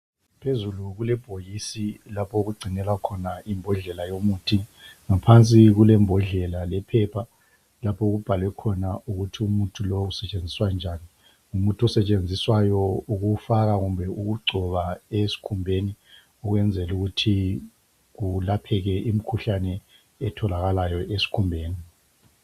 Phezulu kulebhokisi lapho okugcinelwa khona imbodlela yomuthi. Ngaphansi kulembodlela lephepha lapho okubhalwe khona ukuthi umuthi lo usetshenziswa njani. Ngumuthi osetshenziswayo ukuwufaka kumbe ukugcoba esikhumbeni ukwenzela ukuthi kulapheke imikhuhlane etholakalayo esikhumbeni.